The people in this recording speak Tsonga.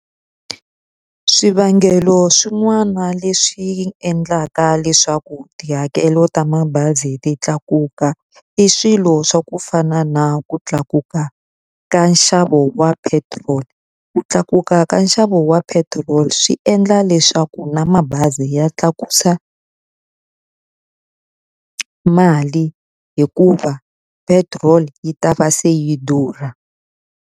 Swivangelo swin'wana leswi endlaka leswaku tihakelo ta mabazi ti tlakuka, i swilo swa ku fana na ku tlakuka ka nxavo wa petiroli. Ku tlakuka ka nxavo wa petiroli swi endla leswaku na mabazi ya tlakusa mali hikuva petrol yi ta va se yi durha.